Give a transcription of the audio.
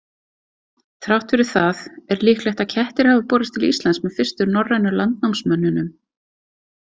Þrátt fyrir það er líklegt að kettir hafi borist til Íslands með fyrstu norrænu landnámsmönnunum.